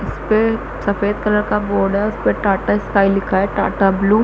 इस्पे सफ़ेद कलर का बोर्ड है उसपे टाटा स्काई लिखा है टाटा ब्लू --